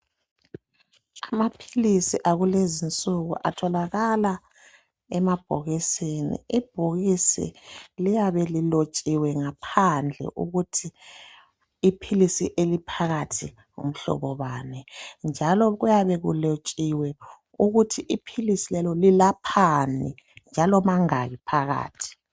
Amaphilisi akulezinsuku atholakala emabhokisini . Ibhokisi liyabe lilotshiwe ngaphandle ukuthi iphilisi eliphakathi ngumhlobo bani njalo kuyabe kulotshiwe ukuthi iphilisi lelo lilaphani njalo mangaki phakathi.